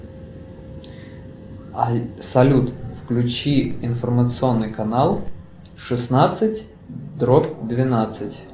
салют включи информационный канал шестнадцать дробь двенадцать